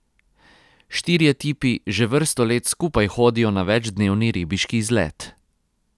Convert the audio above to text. Štirje tipi že vrsto let skupaj hodijo na večdnevni ribiški izlet.